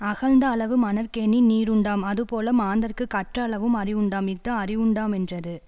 அகழ்ந்த அளவு மணற்கேணி நீருண்டாம் அதுபோல மாந்தர்க்குக் கற்ற அளவும் அறிவுண்டாம் இஃது அறிவுண்டாமென்றது